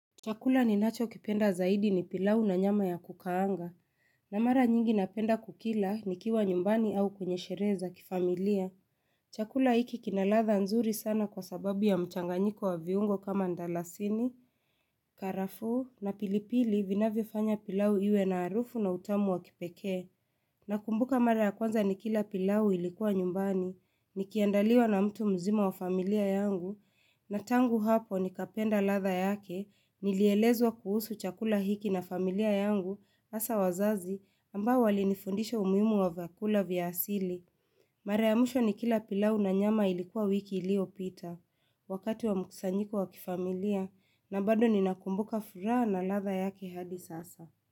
Chakula ninacho kipenda zaidi ni pilau na nyama ya kukaanga, na mara nyingi napenda kukila nikiwa nyumbani au kwenye sherehe za kifamilia. Chakula hiki kinaradha nzuri sana kwa sababu ya mchanganyiko wa viungo kama ndalasini, karafuu na pilipili vinavyofanya pilau iwe na harufu na utamu wa kipekee. Na kumbuka mara ya kwanza nikila pilau ilikuwa nyumbani, nikiandaliwa na mtu mzima wa familia yangu, na tangu hapo ni kapenda radha yake, nilielezwa kuhusu chakula hiki na familia yangu, hasa wazazi, ambao walinifundisha umuhimu wa vyakula vya asili. Mara ya mwisho nikila pilau na nyama ilikuwa wiki iliyopita, wakati wa mkusanyiko wa kifamilia, na bado ni nakumbuka furaha na radha yake hadi sasa.